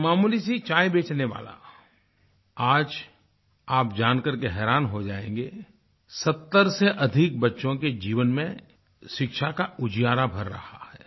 एक मामूली सी चाय बेचने वाला आज आप जानकर हैरान हो जायेंगे 70 से अधिक बच्चों के जीवन में शिक्षा का उजियारा भर रहा है